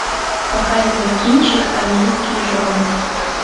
показывай кинчик армейские жены